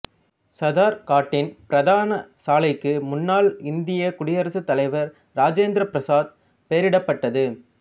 சதர்காட்டின் பிரதான சாலைக்கு முன்னாள் இந்தியக் குடியரசுத் தலைவர் இராசேந்திர பிரசாத் பெயரிடப்பட்டது